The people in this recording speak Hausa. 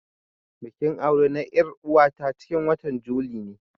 Bikin aure na er'uwa ta cikin watan juli ne.